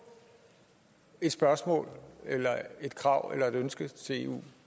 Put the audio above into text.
et spørgsmål eller et krav eller ønske til eu